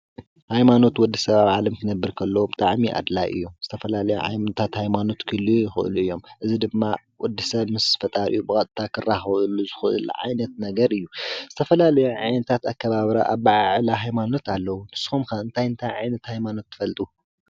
ሃይማኖት ማለት ሓደ ሰብ ዘምልኾ ወይ ዝኽተሎ ምስ ፈጣሪኡ ወይ ነቲ ዘምልኾ ነገር ዝራኸበሉ እንትኸው ኣብ ዓለም ብዙሓት ሃይማኖት እንትህልው ካብኣቶም እቶም ቀንዲ: ሃይማኖት ክርስትናን እስልምናን ዓነዊሕ ዕድመ ዘለዎም እዮም።